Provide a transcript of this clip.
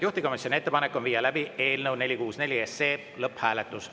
Juhtivkomisjoni ettepanek on viia läbi eelnõu 464 lõpphääletus.